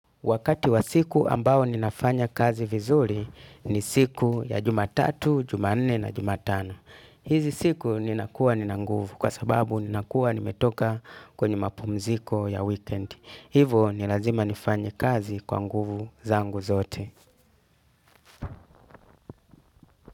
Wakati wa siku ambao ninafanya kazi vizuri ni siku ya jumatatu, jumanne na jumatano. Hizi siku ninakuwa nina nguvu kwa sababu ninakuwa nimetoka kwenye mapumziko ya weekend. Hivo ni lazima nifanye kazi kwa nguvu zangu zote.